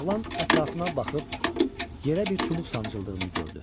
Oğlan ətrafına baxıb yerə bir çubuq sancıldığını gördü.